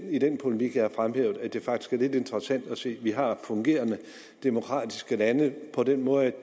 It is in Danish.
i den polemik jeg har fremhævet at det faktisk er lidt interessant at se at vi har fungerende demokratiske lande på den måde